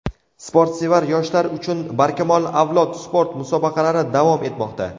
Sportsevar yoshlar uchun "Barkamol avlod" sport musobaqalari davom etmoqda.